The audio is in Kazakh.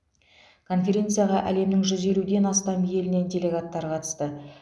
конференцияға әлемнің жүз елуден астам елінен делегаттар қатысты